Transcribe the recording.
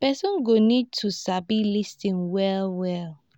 person go need to sabi lis ten well well